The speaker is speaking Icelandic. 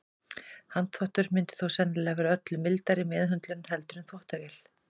Handþvottur myndi þó sennilega vera öllu mildari meðhöndlun heldur en þvottavélin.